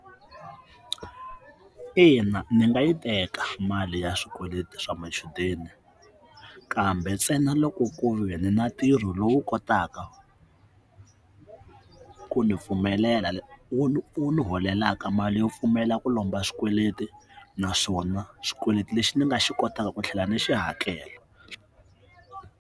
Ina ndzi nga yi teka mali ya swikweleti swa machudeni kambe ntsena loko ku ve ndzi na ntirho lowu kotaka ku ndzi pfumelela wu ndzi holelaka mali yo pfumela ku lomba xikweleti naswona xikweleti lexi ndzi nga xi kotaka ku tlhela ndzi xi hakela.